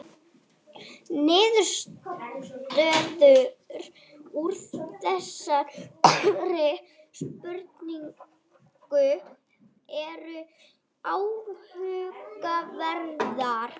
Niðurstöður úr þessari spurningu eru áhugaverðar